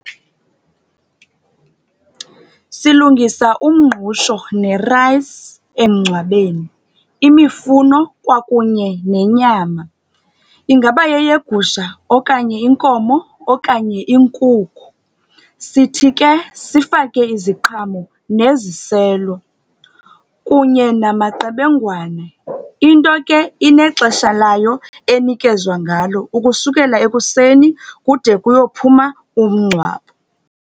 Silungisa umngqusho ne-rice emngcwabemi, imifuno kwakunye nemnyama. Ingaba yeyegusha okanye inkomo okanye inkukhu. Sithi ke sifake iziqhamo neziselo, kunye namaqebengwane. Into ke inexesha layo enikezwa ngalo ukusukela ekuseni kude kuyophuma umngcwabo.